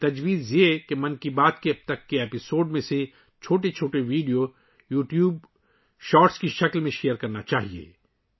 تجویز یہ ہے کہ 'من کی بات' کی اب تک کی اقساط کی چھوٹی ویڈیوز کو یوٹیوب شارٹس کی شکل میں شیئر کیا جانا چاہیے